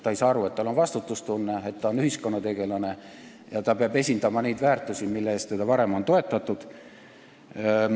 Ta ei saa aru, et tal peab olema vastutustunne, et ta on ühiskonnategelane, kes peab esindama neid väärtusi, mille pärast on teda varem toetatud.